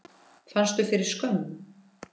Fannstu fyrir skömm?